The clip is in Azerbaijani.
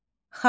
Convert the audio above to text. Xalidə.